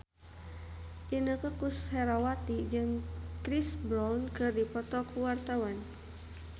Inneke Koesherawati jeung Chris Brown keur dipoto ku wartawan